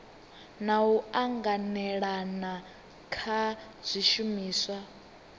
na u anganelana kha zwishumiswa